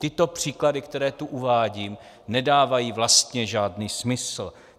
Tyto příklady, které tu uvádím, nedávají vlastně žádný smysl.